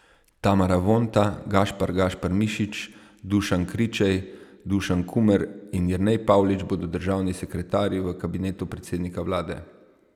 Tamara Vonta, Gašpar Gašpar Mišič, Dušan Kričej, Dušan Kumer in Jernej Pavlič bodo državni sekretarji v kabinetu predsednika vlade.